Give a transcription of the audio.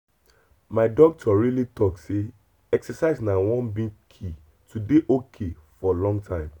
my doctor really talk say exercise na one big key to dey ok for long time.